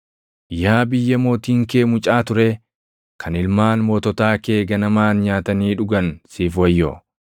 Yaa biyya mootiin kee mucaa turee, kan ilmaan moototaa kee ganamaan nyaatanii dhugan siif wayyoo.